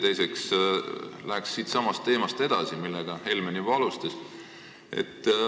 Teiseks läheks sellesama teemaga edasi, mida Helmen juba alustas.